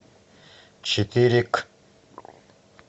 четыре к